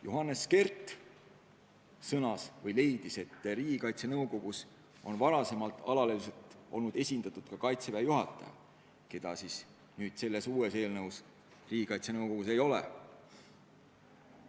Johannes Kert sõnas, et Riigikaitse Nõukogus on varem alaliselt esindatud olnud ka Kaitseväe juhataja, keda nüüd selle uue eelnõu kohaselt Riigikaitse Nõukogus ei pruugi olla.